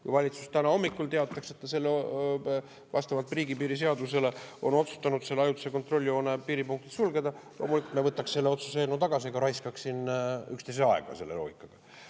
Kui valitsus täna hommikul teataks, et ta vastavalt riigipiiri seadusele on otsustanud selle ajutise kontrolljoone piiripunktid sulgeda, võtaks me selle otsuse eelnõu tagasi ega raiskaks siin üksteise aega selle loogikaga.